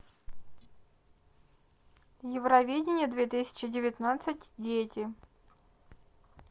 евровидение две тысячи девятнадцать дети